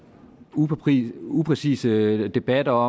upræcise upræcise debatter